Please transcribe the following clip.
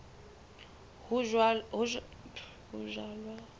ho jalwa le poone bo